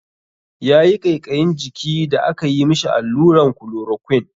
Yayi ƙaiƙayin jiki da aka yi mishi alluran klorokwin.